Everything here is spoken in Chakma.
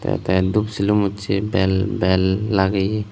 etey dub sium ucchey bel bel lageye.